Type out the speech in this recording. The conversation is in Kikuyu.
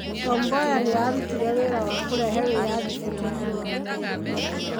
Tom Mboya nĩ aarutire wĩra wa kũrehe wĩyathi bũrũri-inĩ wa Kenya.